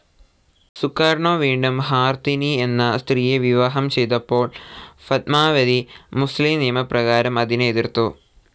Sukarno വീണ്ടും Hartini എന്ന സ്ത്രീയെ വിവാഹം ചെയ്തപ്പോൾ ഫത്മാവതി, മുസ്ലിം നിയമപ്രകാരം അതിനെ എതിർത്തു.